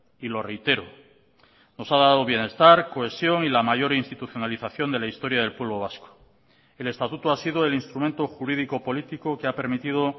y lo reitero nos ha dado bienestar cohesión y la mayor institucionalización de la historia del pueblo vasco el estatuto ha sido el instrumento jurídico político que ha permitido